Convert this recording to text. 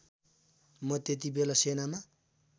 म त्यतिबेला सेनामा